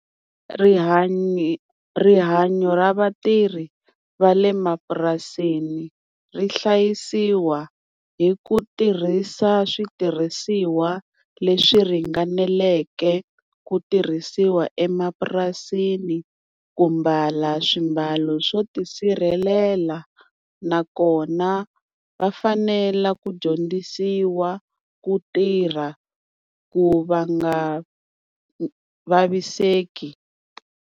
Rihanyo rihanyo ra vatirhi va le mapurasini ri hlayisiwa hi ku tirhisa switirhisiwa leswi ringaneleke ku tirhisiwa emapurasini, ku mbala swimbalo swo tisirhelela nakona va fanela ku dyondzisiwa ku tirha ku va nga vaviseki.